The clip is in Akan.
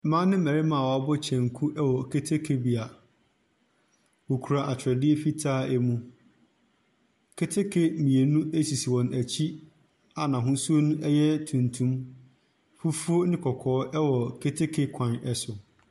Mmaa ne mmarima a wɔabɔ kyɛnku wɔ keteke bea, wɔkura atwedeɛ fitaa mu. Keteke mmienu sisi wɔn akyi a n’ahosuo yɛ tuntum. Fufuo ne kɔkɔɔ wɔ keteke kwan so.